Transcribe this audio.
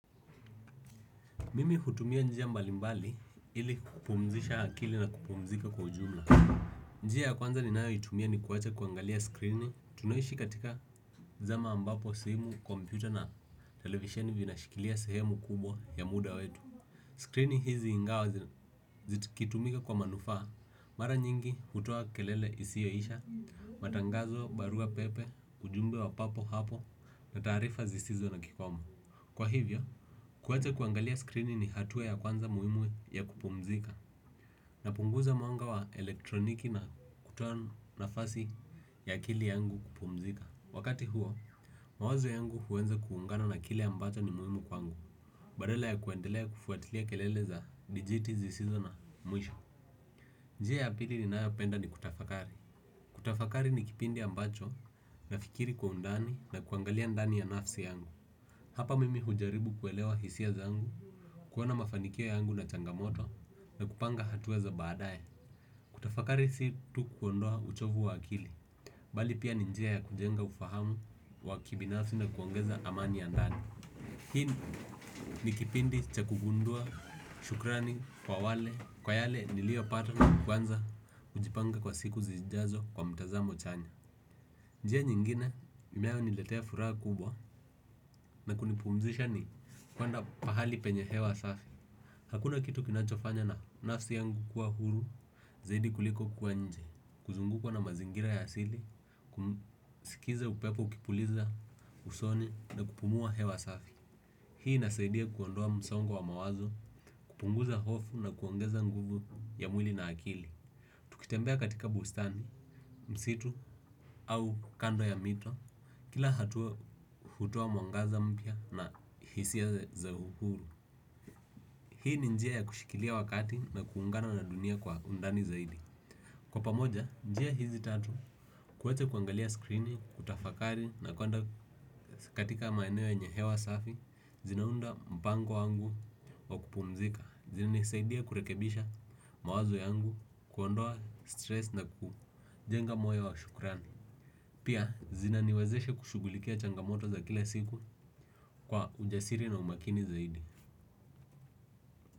Mimi hutumia njia mbalimbali ili kupumzisha akili na kupumzika kwa ujumla. Njia kwanza ninayoitumia ni kuwacha kuangalia skrini tunaishi katika zama ambapo simu, kompyuta na televisioni vina shikilia sehemu kubwa ya muda wetu. Skrini hizi ingawa zitikitumika kwa manufaa mara nyingi hutoa kelele isiyoisha, matangazo, barua pepe, ujumbe wa papo hapo na taarifa zisizo na kikomo kwa hivyo, kuwacha kuangalia skrini ni hatuwa ya kwanza muhimu ya kupumzika. Na punguza mwanga wa elektroniki na kutoa nafasi ya akili yangu kupumzika. Wakati huo, mawazo yangu huweza kuungana na kile ambacho ni muhkmu kwangu. Badala ya kuendelea kufuatilia kelele za digiti zisizo na mwisho njia ya pili ninayopenda ni kutafakari. Kutafakari ni kipindi ambacho nafikiri kwa undani na kuangalia ndani ya nafsi yangu. Hapa mimi hujaribu kuelewa hisia zangu. Kuona mafanikia yangu na changamoto na kupanga hatua za baadaye. Kutafakari si tu kuondoa uchovu wa akili. Bali pia ni njia ya kujenga ufahamu wa kibinasi na kuongeza amani ya ndani hiii ni kipindi chaku gundua shukrani kwa wale kwa yale nilio pata na kuanza kujipanga kwa siku zijazo kwa mtazamo chanya. Njia nyingine imeayo niletea furaha kubwa na kunipumzisha ni kuenda pahali penye hewa safi. Hakuna kitu kinachofanya na nafsi yangu kuwa huru zaidi kuliko kuwa nje, kuzungukwa na mazingira ya asili, kumsikiza upepo ukipuliza usoni na kupumua hewa safi. Hii inasaidia kuondoa msongo wa mawazo, kupunguza hofu na kuongeza nguvu ya mwili na akili. Tukitembea katika bustani, msitu au kando ya mito kila hatua hutua mwangaza mpia na hisia za huru. Hii ni njia ya kushikilia wakati na kuungana na dunia kwa undani zaidi. Kwa pamoja, njia hizi tatu, kuwacha kuangalia skrini, kutafakari na kuenda katika maeneo yenye hewa safi, zinaunda mpango wangu wa kupumzika. Zinanisaidia kurekebisha mawazo yangu, kuondoa stress na kujenga moyo wa shukrani. Pia, zina niwazeshe kushugulikia changamoto za kila siku kwa ujasiri na umakini zaidi.